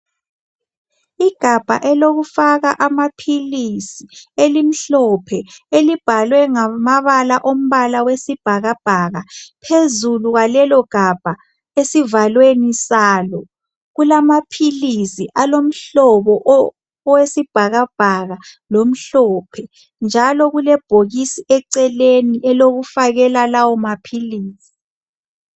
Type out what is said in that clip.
igabha elokufaka amaphilisi elimhophe elibhalwe ngamabala alombala wesibhakabhaka phezulu kwalelogabha esivalweni salo kulamaphilizi alomhlobo owesibhakabhaka lomhlophe njalo kulebhokisi eceleni elokufakela lawo maphilisi